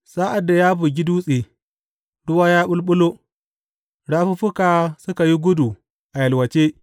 Sa’ad da ya bugi dutse, ruwa ya ɓulɓulo, rafuffuka suka yi gudu a yalwace.